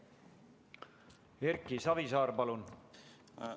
Erki Savisaar, palun!